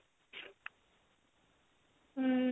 ହମ